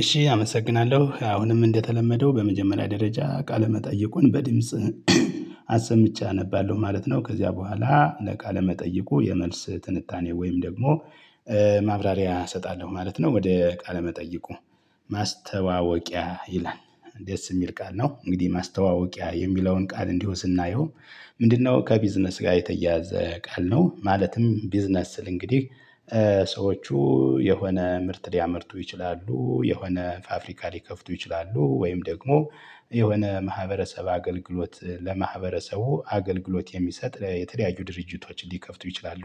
እሺ አመሰግናለሁ አሁንም እንደተለመደው በመጀመሪያ ደረጃ ቃለመጠይቁን በድምጽ አሰምቼ አነባለሁ ማለት ነው። ከዚያ በኋላ ለቃለ መጠይቁ የመልስ ትንታኔ ወይም ደግሞ ማብራሪያ እሰጣለሁ ማለት ነው። ወደ ቃለ መጠይቁ ማስተዋወቂያ ይላል ደስ ሚል ቃል ነው እንግዲህ ማስተዋወቂያ የሚለውን ቃል እንዲሁ ስናየው። ምንድነው? ከቢዝነስ ጋር የተያያዘ ቃል ነው። ማለትም ቢዝነስ ስል እንግዲህ ሰዎቹ የሆነ ምርት ሊያመርቱ ይችላሉ የሆነ ፋብሪካ ሊከፍቱ ይችላሉ ወይም ደግሞ የሆነ ማህበረሰብ አገልግሎት ለማህበረሰቡ አገልግሎት የሚሰጥ የተለያዩ ድርጅቶችን ሊከፍቱ ይችላሉ።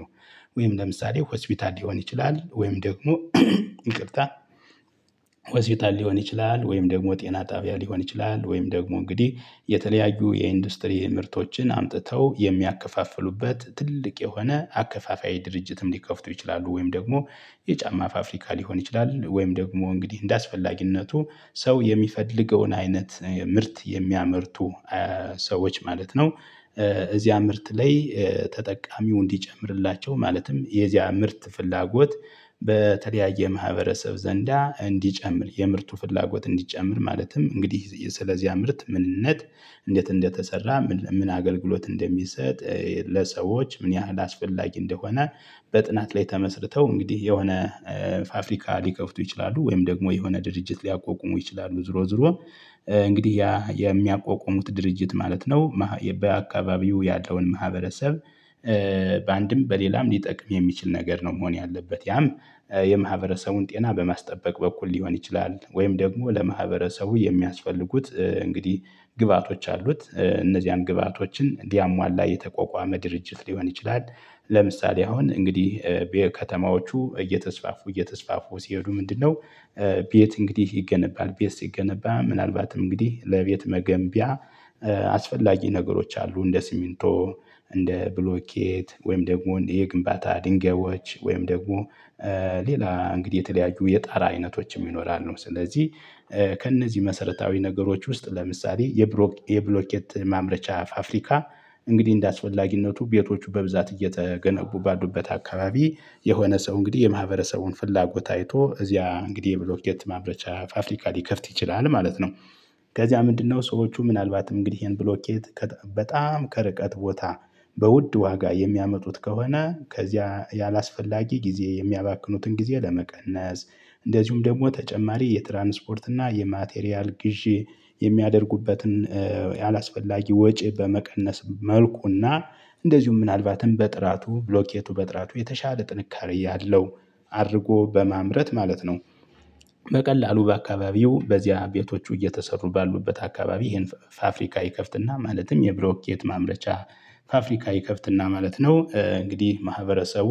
ወይም ለምሳሌ ሆስፒታል ሊሆን ይችላል ወይም ደግሞ ይቅርታ ሆስፒታል ሊሆን ይችላል ወይም ደግሞ ጤና ጣቢያ ሊሆን ይችላል ወይም ደግሞ እንግዲህ የተለያዩ የኢንዱስትሪ ምርቶችን አምጥተው የሚያከፋፍሉበት ትልቅ የሆነ አከፋፋይ ድርጅትም ሊከፍቱ ይችላሉ ወይም ደግሞ የጫማ ፋፍሪካ ሊሆን ይችላል ወይም ደግሞ እንግዲህ እንደአስፈላጊነቱ ሰው የሚፈልገውን አይነት ምርት የሚያመርቱ ሰዎች ማለት ነው። እዚያ ምርት ላይ ተጠቃሚው እንዲጨምርላቸው ማለትም የዚያ ምርት ፍላጎት በተለያየ ማህበረሰብ ዘንዳ እንዲጨምር የምርቱ ፍላጎት እንዲጨምር ማለትም እንግዲህ ስለዚያ ምርት ምንነት። እንዴት እንደተሰራ ምን ምን አገልግሎት እንደሚሰጥ ለሰዎች ምን ያህል አስፈላጊ እንደሆነ። በጥናት ላይ ተመስርተው እንግዲህ የሆነ ፋፍሪካ ሊከፍቱ ይችላሉ። ወይም ደግሞ የሆነ ድርጅት ሊያቋቁሙ ይችላሉ ዙሮ ዙሮ። እንግዲህ ያ የሚያቋቁሙት ድርጅት ማለት ነው ማህ በአካባቢው ያለውን ማህበረሰብ በአንድም በሌላም ሊጠቅም የሚችል ነገር ነው መሆን ያለበት። ያም የማህበረሰቡን ጤና በማስጠበቅ በኩል ሊሆን ይችላል። ወይም ደግሞ ለማህበረሰቡ የሚያስፈልጉት እንግዲህ ግብአቶች አሉት እነዚያን ግብአቶችን እንዲያሟላ የተቋቋመ ድርጅት ሊሆን ይችላል። ለምሳሌ አሁን እንግዲህ ከተማዎቹ እየተስፋፉ እየተስፋፉ ሲሄዱ ምንድነው? ቤት እንግዲህ ይገነባል ቤት ሲገነባ ምናልባትም እንግዲህ ለቤት መገንቢያ አስፈላጊ ነገሮች አሉ እንደ ሲሚንቶ። እንደ ብሎኬት ወይም ደግሞ የግንባታ ድንጋዮች ወይም ደግሞ ሌላ እንግዲህ የተለያዩ የጣራ አይነቶችም ይኖራሉ። ስለዚህ ከእነዚህ መሰረታዊ ነገሮች ውስጥ ለምሳሌ የብሮክ የብሎኬት ማምረቻ ፋፍሪካ እንግዲህ እንደ አስፈላጊነቱ ቤቶቹ በብዛት እየተገነቡ ባሉበት አካባቢ የሆነ ሰው እንግዲህ የማህበረሰቡን ፍላጎት አይቶ እዚያ እንግዲህ የብሎኬት ማምረቻ ፋፍሪካ ሊከፍት ይችላል ማለት ነው። ከዚያ ምንድነው ሰዎቹ ምናልባትም እንግዲህ ይሄን ብሎኬት ከጣ በጣም ከርቀት ቦታ በውድ ዋጋ የሚያመጡት ከሆነ ከዚያ ያላስፈላጊ ጊዜ የሚያባክኑትን ጊዜ ለመቀነስ እንደዚሁም ደግሞ ተጨማሪ የትራንስፖርት እና የማቴሪያል ግዢ የሚያደርጉበትን ያላስፈላጊ ወጪ በመቀነስ መልኩ እና እንደዚሁም ምናልባትም በጥራቱ ብሎኬቱ በጥራቱ የተሻለ ጥንካሬ ያለው አድርጎ በማምረት ማለት ነው። በቀላሉ በአካባቢው በዚያ ቤቶቹ እየተሰሩ ባሉበት አካባቢ ይሄን ፋ ፋፍሪካ ይከፍትና ማለትም የብሎኬት ማምረቻ ፋፍሪካ ይከፍትና ማለት ነው። እንግዲህ ማህበረሰቡ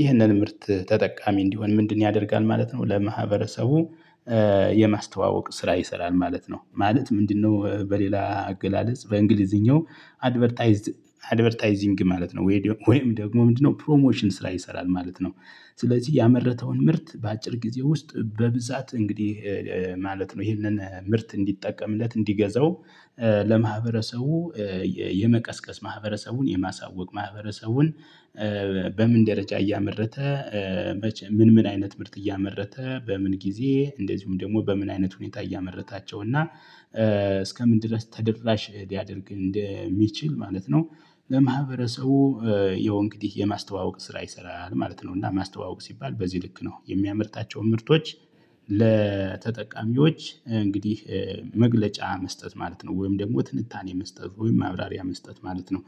ይህንን ምርት ተጠቃሚ እንዲሆን ምንድን ያደርጋል ማለት ነው። ለማህበረሰቡ የማስተዋወቅ ስራ ይሰራል ማለት ነው። ማለት ምንድነው? በሌላ አገላለጽ በኢንግሊዝኛው አድቨርታይዝድ አድቨርታይዚንግ ማለት ነው። ወይ ደ ወይም ደግሞ ምንድነው? ፕሮሞሽን ስራ ይሰራል ማለት ነው። ስለዚህ ያመረተውን ምርት በአጭር ጊዜ ውስጥ በብዛት እንግዲህ ማለት ነው ይሄንን ምርት እንዲጠቀምለት እንዲገዛው ለማህበረሰቡ የመቀስቀስ ማህበረሰቡን የማሳወቅ ማህበረሰቡን በምን ደረጃ እያመረተ መቼም ምን ምን አይነት ምርት እያመረተ በምን ጊዜ እንደዚሁም ደግሞ በምን አይነት ሁኔታ እያመረታቸው እና እስከምን ድረስ ተደራሽ ሊያደርግ እንደሚችል ማለት ነው። ለማህበረሰቡ ያው እንግዲህ የማስተዋወቅ ስራ ይሰራል ማለት ነው። እና ማስተዋወቅ ሲባል በዚህ ልክ ነው የሚያመርታቸው ምርቶች ለተጠቃሚዎች እንግዲህ መግለጫ መስጠት ማለት ነው። ወይም ደግሞ ትንታኔ መስጠት ወይም ማብራሪያ መስጠት ማለት ነው።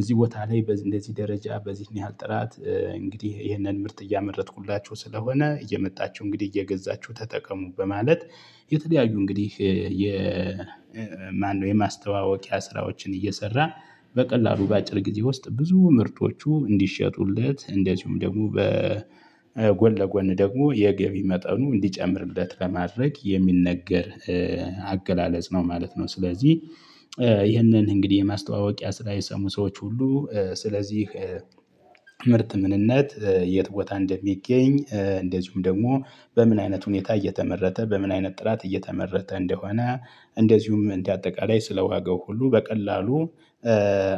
እዚህ ቦታ ላይ በዚ እንደዚህ ደረጃ በዚህን ያህል ጥራት እንግዲህ ይሄንን ምርት እያመረትኩላችሁ ስለሆነ እየመጣችሁ እንግዲህ እየገዛችሁ ተጠቀሙ በማለት የተለያዩ እንግዲህ የ ማነው? የማስተዋወቂያ ስራዎችን እየሰራ በቀላሉ በአጭር ጊዜ ውስጥ ብዙ ምርቶቹ እንዲሸጡለት እንደዚሁም ደግሞ በጎን ለጎን ደግሞ የገቢ መጠኑ እንዲጨምርለት ለማድረግ የሚነገር አገላለጽ ነው ማለት ነው። ስለዚህ ይህንን እንግዲህ የማስተዋወቂያ ስራ የሰሙ ሰዎች ሁሉ ስለዚህ ምርት ምንነት የት ቦታ እንደሚገኝ እንደዚሁም ደግሞ በምን አይነት ሁኔታ እየተመረተ በምን አይነት ጥራት እየተመረተ እንደሆነ። እንደዚሁም እንደ አጠቃላይ ስለዋጋው ሁሉ በቀላሉ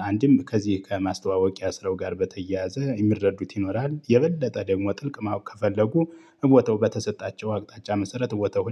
አንድም ከዚህ ከማስተዋወቂያ ስራው ጋር በተያያዘ የሚረዱት ይኖራል የበለጠ ደግሞ ጥልቅ ማወቅ ከፈለጉ እቦታው በተሰጣቸው አቅጣጫ መሰረት እቦታው